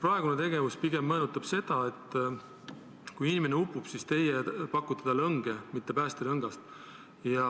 Praegune tegevus meenutab pigem seda, et inimene upub, aga teie pakute talle õnge, mitte päästerõngast.